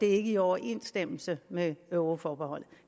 er ikke i overensstemmelse med euroforbeholdet